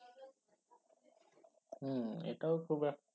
হম এটাও খুব এক